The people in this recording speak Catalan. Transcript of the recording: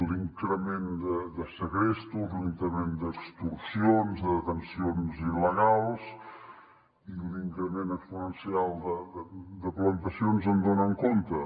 l’increment de segrestos l’increment d’extorsions de detencions il·legals l’increment exponencial de plantacions en donen compte